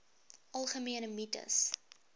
algemene mites